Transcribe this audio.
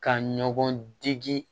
Ka ɲɔgɔndege